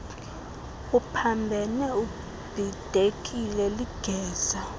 uphambene ubhidekile ligeza